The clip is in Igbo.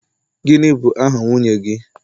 gini bu aha nwunye gi?